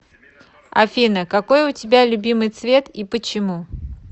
афина какой у тебя любимый цвет и почему